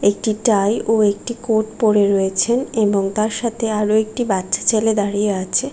একটি টাই ও একটি কোট পরে রয়েছে এবং তার সাথে একটি বাচ্ছা ছেলে দাঁড়িয়ে আছে ।